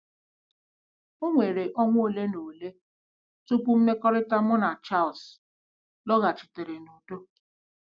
O were ọnwa ole na ole tupu mmekọrịta mụ na Charles lọghachitere n'udo. ”